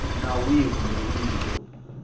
nawu wihi kumbe wihi lowu